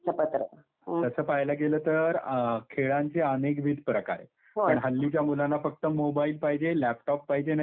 तसं पाहायला गेलं तर खेळांचे अनेकविध प्रकार आहेत. पण हल्लीच्या मुलांना फक्त मोबाइल पाहिजे, लॅपटॉप पाहिजे नाहीतर व्हिडिओ गेम.